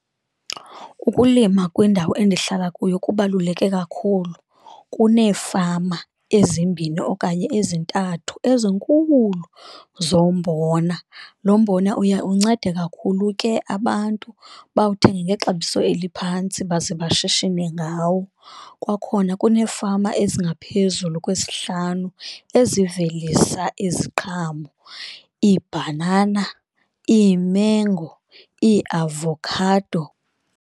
Ukulima kwindawo endihlala kuyo kubaluleke kakhulu, kuneefama ezimbini okanye ezintathu ezinkuulu zombona, lo mbona uya uncede kakhulu ke abantu abawuthenge ngexabiso eliphantsi baze abashishine ngawo. Kwakhona kuneefama ezingaphezulu kwesihlanu ezivelisa iziqhamo iibhanana, iimengo, iiavokhado.